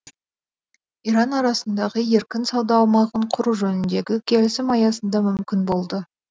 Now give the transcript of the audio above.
иран арасындағы еркін сауда аумағын құру жөніндегі келісім аясында мүмкін болды